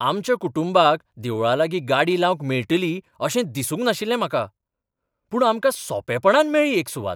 आमच्या कुटुंबाक देवळालागीं गाडी लावंक मेळटली अशें दिसूंक नाशिल्लें म्हाका, पूण आमकां सोंपेपणान मेळ्ळी एक सुवात.